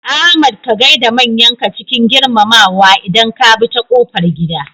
Ahmad ka gaida manyanka cikin girmamawa idan ka bi ta kofar gida.